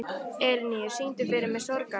Elínheiður, syngdu fyrir mig „Sorgarlag“.